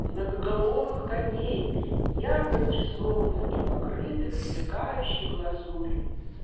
многоголовый коней ярко разрисованных и покрытых сверкающие глазурью